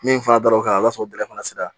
Min fana dabɔ kan o y'a sɔrɔ o bɛlɛ fana sera